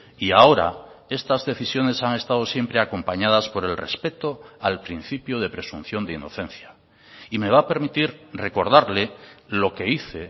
y ahora estas decisiones han estado siempre acompañadas por el respeto al principio de presunción de inocencia y me va a permitir recordarle lo que hice